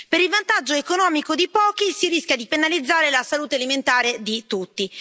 Per il vantaggio economico di pochi si rischia di penalizzare la salute alimentare di tutti.